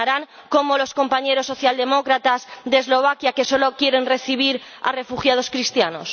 ¿Terminarán como los compañeros socialdemócratas de Eslovaquia, que solo quieren recibir a refugiados cristianos?